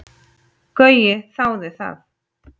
Gaui þáði það.